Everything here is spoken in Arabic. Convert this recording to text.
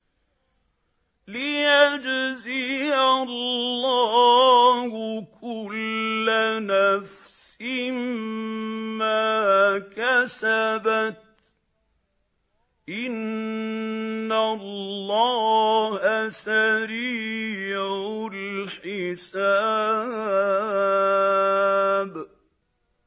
لِيَجْزِيَ اللَّهُ كُلَّ نَفْسٍ مَّا كَسَبَتْ ۚ إِنَّ اللَّهَ سَرِيعُ الْحِسَابِ